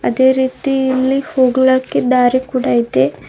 ಅದೇ ರೀತಿ ಇಲ್ಲಿ ಹೋಗ್ಲಾಕ್ಕೆ ದಾರಿ ಕೂಡ ಇದೆ.